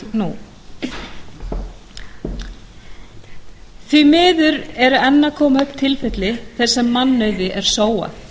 nú því miður eru enn að koma upp tilfelli þar sem mannauð er sóað